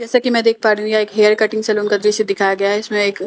जैसा कि मैं देख पा रही हूँ यहां एक हेयर कटिंग सलून का दृश्य दिखाया गया हैं जिसमें एक--